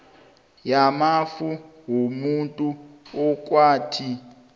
yamafa womuntu okwathi